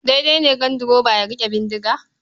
Daidai ne ganduroba ya riƙe bindiga?